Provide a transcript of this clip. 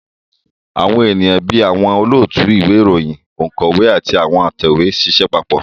Àwọn èèyàn bí àwọn olóòtú ìwé ìròyìn, ònkọ́wé àti atẹ̀wé ń ṣiṣẹ́ papọ̀